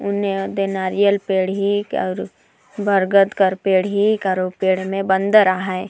हूने नारियल पेड़ हे और बरगद कर पेड़ हे और उ पेड़ में बंदर आहे।